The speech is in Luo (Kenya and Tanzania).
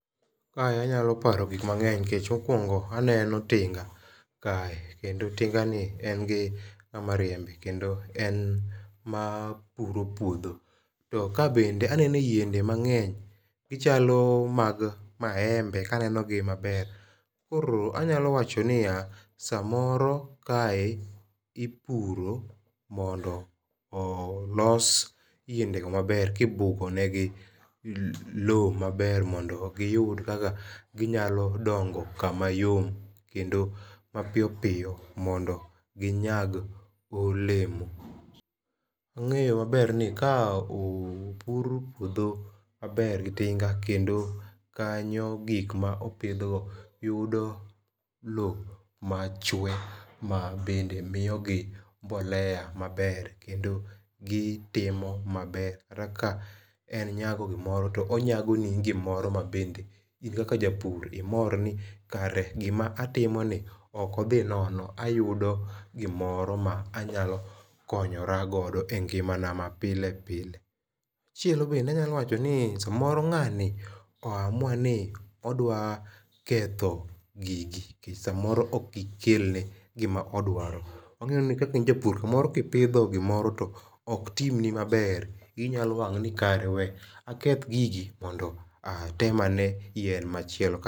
Kae anyalo paro gik mang'eny nikech mokwongo aneno tinga kae kendo tinga ni en gi ng'ama riembe kendo en ma puro puodho. To ka bende anene yiende mang'eny. Gichalo mag maembe kaneno gi maber. Kor anyalo wacho ni ya samoro kae ipuro mondo olos yiende go maber kibugo negi low maber mondo giyud kaka ginyalo dongo kama yom kendo mapiyopiyo mondo ginyag olemo. Wang'eyo maber ni ka opur puodho maber gi tinga kendo kanyo gik mopidhgo yudo low machwe ma bende miyogi mbolea maber kendo gitimo maber. Kata ka en nyago gimoro to onyago ni gomoro ma bende in kaka japur imor ni kare gima atimoni ok odhi nono ayudo gimoro ma anyalo konyoragodo e ngima na ma pile pile. Machielo bende anyalo wacho ni samoro ng'ani oamua ni odwa ketho gigi nikech samoro ok gikelne gima odwaro. Wang'eyo ni kaka in japur samoro kipidho gimoro to ok timni maber iyi nyalo wang' ni kare we aketh gigi mondo atem ane yien machielo.